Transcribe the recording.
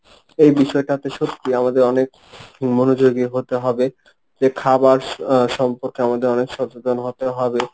এই বিষয়টাতে সত্যি আমাদের অনেক মনোযোগী হতে হবে. যে খাবার সম্পর্কে আমাদের অনেক সচেতন হতে হবে